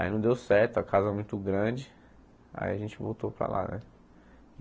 Aí não deu certo, a casa é muito grande, aí a gente voltou para lá, né?